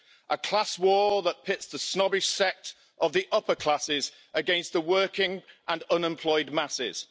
a class war that pits the snobbish sect of the upper classes against the working and unemployed masses.